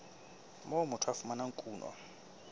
moo motho a fumanang kuno